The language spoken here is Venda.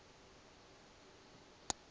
liṋ walo he li a